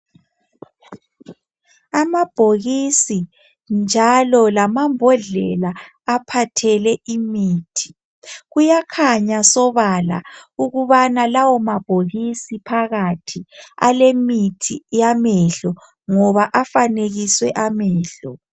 Amabhokisi njalo lamambodlela aphathele imithi kuyakhanya sobala ukubana lawomabhokisi phakathi alemithi yamehlo ngoba afanekiswe amehlo